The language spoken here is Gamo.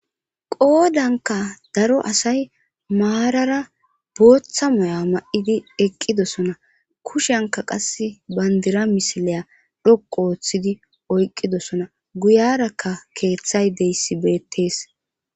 qoodanka daro asay maarara booththa moya ma7idi eqqidosona kushenka qas bandira misileya dhoq ooththidi oyqqidosona guyarakka keeththay deyssibeettees